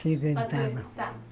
Frequentava.